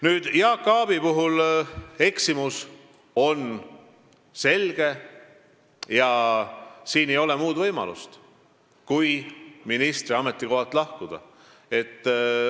Nüüd, Jaak Aabi puhul on eksimus selge ja siin ei ole muud võimalust, kui ministri ametikohalt lahkuda.